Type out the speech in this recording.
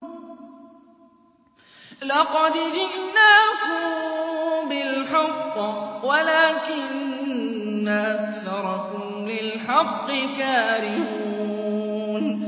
لَقَدْ جِئْنَاكُم بِالْحَقِّ وَلَٰكِنَّ أَكْثَرَكُمْ لِلْحَقِّ كَارِهُونَ